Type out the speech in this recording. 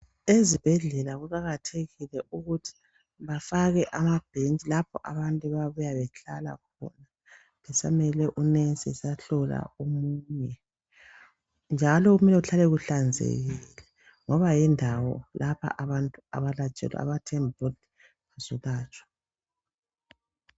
Ezibhedlela kuqakathekile ukuthi bafake amabhentshi lapho abantu abayabuya behlala khona besamelele unurse esahlola omunye, njalo kumele kuhlale kuhlanzekile ngoba yindawo lapha abantu abathemba ukuthi bazohlatshwa.